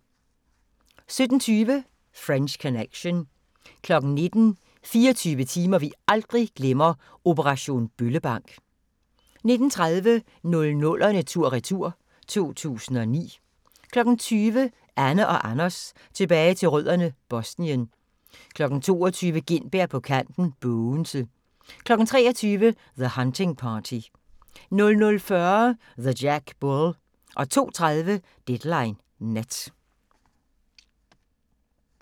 17:20: French Connection 19:00: 24 timer vi aldrig glemmer - operation Bøllebank 19:30: 00'erne tur-retur: 2009 20:00: Anne & Anders tilbage til rødderne: Bosnien 22:00: Gintberg på kanten - Bogense 23:00: The Hunting Party 00:40: The Jack Bull 02:30: Deadline Nat